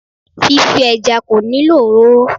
Fífí ẹja kò nílò òróró